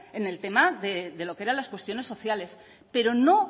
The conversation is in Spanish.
en el tema de lo que eran las cuestiones sociales pero no